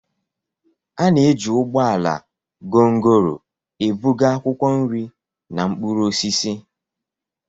A na-eji ụgbọ ala gongoro ebuga akwụkwọ nri na mkpụrụ osisi.